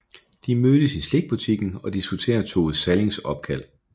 De mødes i slikbutikken og diskuterer Tove Sallings opkald